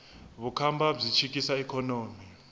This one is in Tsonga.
vukhamba byi chikisa ikhonomi